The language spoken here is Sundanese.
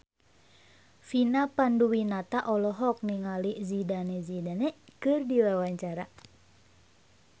Vina Panduwinata olohok ningali Zidane Zidane keur diwawancara